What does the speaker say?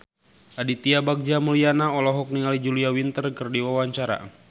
Aditya Bagja Mulyana olohok ningali Julia Winter keur diwawancara